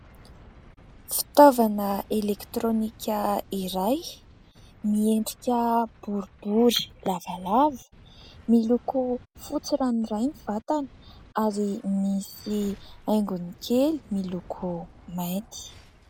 Fitaovana elektrônika iray miendrika boribory lavalava, miloko fotsy ranoray ny vatany ary misy haingony kely miloko mainty.